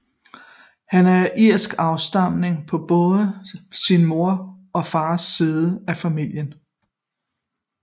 Han er af irsk afstamning på både sin mors og fars side af familien